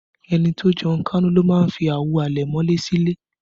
Ẹni tó jẹun kánú ló ń fi àwo àlẹ̀mọ́lẹ̀ sí ilé